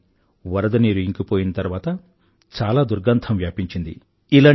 కానీ వరద నీరు ఇంకిపోయిన తర్వాత చాలా దుర్గంధం వ్యాపించింది